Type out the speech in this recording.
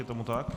Je tomu tak?